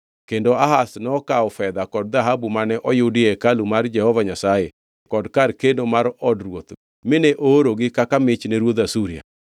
Kendo Ahaz nokawo fedha kod dhahabu mane oyudi e hekalu mar Jehova Nyasaye kod kar keno mar od ruoth mine oorogi kaka mich ne ruodh Asuria.